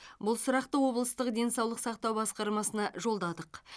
бұл сұрақты облыстық денсаулық сақтау басқармасына жолдадық